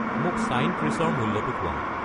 মোক ছাইন ত্ৰিশৰ মূল্যটো কোৱা